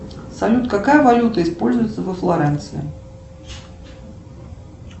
салют какая валюта используется во флоренции